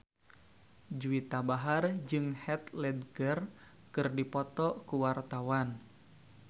Juwita Bahar jeung Heath Ledger keur dipoto ku wartawan